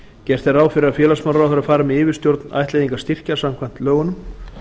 gert er ráð fyrir að félagsmálaráðherra fari með yfirstjórn ættleiðingarstyrkja samkvæmt lögunum